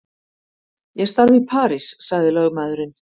Ég starfa í París sagði lögmaðurinn.